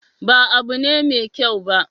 Ba abu ne mai kyau ba.